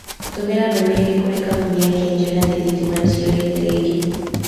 tumĩra ndũmĩrĩri kũrĩ kampuni ya Kengen atĩ thitima nĩ ciũrĩte rĩngĩ